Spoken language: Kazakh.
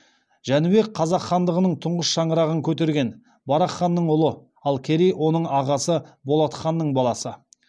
жәнібек қазақ хандығының тұңғыш шаңырағын көтерген барақ ханның ұлы ал керей оның ағасы болат ханның баласы